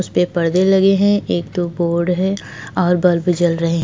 उसपे परदे लगे है एक दो बोर्ड है और बल्ब भी जल रहे हैं।